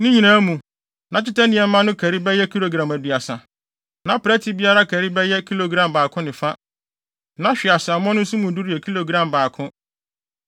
Ne nyinaa mu, na dwetɛ nneɛma no kari bɛyɛ kilogram aduasa, na prɛte biara kari bɛyɛ kilogram baako ne fa, na hweaseammɔ no nso mu duru yɛ kilogram baako.